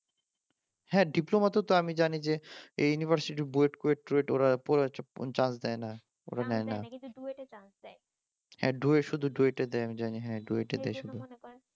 হ্যাঁ ডিপ্লোমাদেরকে তো আমি জানি এই ইউনিভার্সিটির বুয়েট কুয়েত চুয়েট ওরা চান্স দেয় না কিন্তু ডুয়েটে দেয় শুধু